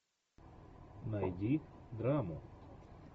найди драму